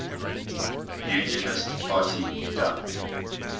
unionist party dup